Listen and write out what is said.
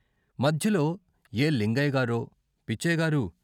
మధ్యలో ఏ లింగయ్యగారో పిచ్చయ్యగారూ!